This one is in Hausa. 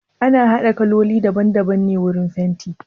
Ana haɗa kaloli daban daban ne wurin fenti?